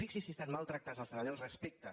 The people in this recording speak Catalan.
fixi’s si estan mal tractats els treballadors respecte